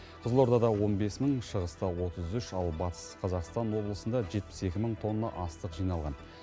қызылордада он бес мың шығыста отыз үш ал батыс қазақстан облысында жетпіс екі мың тонна астық жиналған